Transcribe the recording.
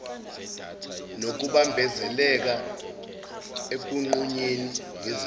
nokubambezeleka ekunqunyeni ngesibizo